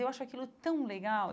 Eu acho aquilo tão legal.